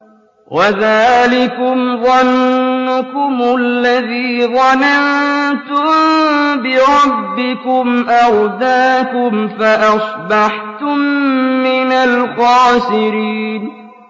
وَذَٰلِكُمْ ظَنُّكُمُ الَّذِي ظَنَنتُم بِرَبِّكُمْ أَرْدَاكُمْ فَأَصْبَحْتُم مِّنَ الْخَاسِرِينَ